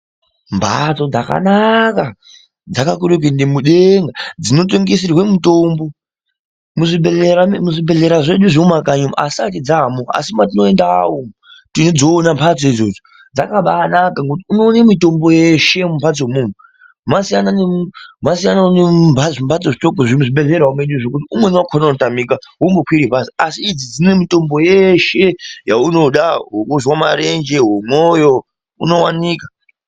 Mbatso dzakanaka dzakakuree kuende mudengaa dzinotengeserwe mitombo, muzvibhedhleya zvedu zvemumakanyi umu hazvisati dzaamo asi matinoendavo teidziona mbatsoo idzodzo dzakabaanaka ngokuti unoone mitombo yeshe mumbatso imomo, masiyana nomuzvimbatso zvitoko zviri muzvibhedhleravo medu nokuti umweni wakona unotamika wombokwire bus , asi idzi dzine mitombo yeshe yaunoda wokuzwaa marenje, womwoyo unowanika.